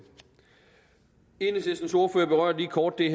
enhedslistens ordfører berørte lige kort den